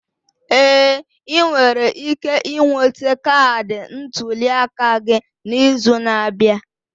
Ee, ị nwere ike ịnwete kaadị ntuli aka gị n'izu na-abịa.